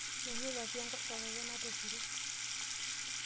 Menuta pi enkoshoke ake natopiro.